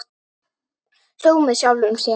Hló með sjálfum sér.